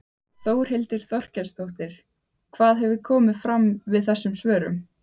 Þórhildur Þorkelsdóttir: Hvað hefur komið fram við þessum svörum?